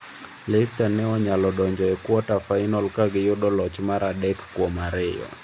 Leicester ne onyalo donjo e kwata-final ka giyudo loch mar adekkuomariyo.